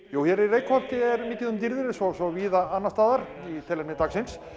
jú hér í Reykholti er mikið um dýrðir eins og svo víða annars staðar í tilefni dagsins